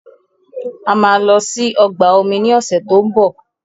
A máa lọ sí ọgbà omi ní ọ̀sẹ̀ tó ń bọ̀.